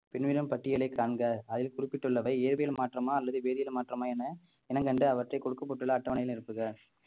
பின்வரும் பட்டியலை காண்க அதில் குறிப்பிட்டுள்ளவை இயற்பியல் மாற்றமா அல்லது வேதியியல் மாற்றமா என இனம் கண்டு அவற்றை கொடுக்கப்பட்டுள்ள அட்டவணை நிரப்புக